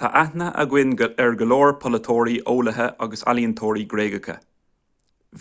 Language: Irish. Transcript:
tá aithne againn ar go leor polaiteoirí eolaithe agus ealaíontóirí gréagacha